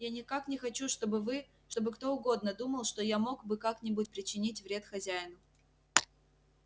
я никак не хочу чтобы вы чтобы кто угодно думал что я мог бы как-нибудь причинить вред хозяину